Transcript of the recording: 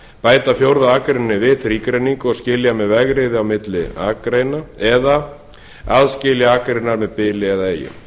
bæta fjórðu akreininni við þrígreiningu og skilja með vegriði á milli akreina eða aðskilja akreinar með bili eða eyju í